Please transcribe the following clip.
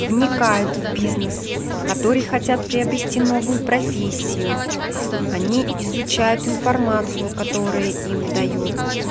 вникает в бизнес которые хотят приобрести новую профессию они изучают информацию которая им даёт